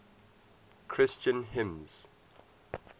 christian hymns